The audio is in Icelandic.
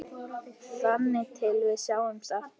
Þangað til við sjáumst aftur.